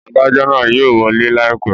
Adajọ naa yóò wọle laipẹ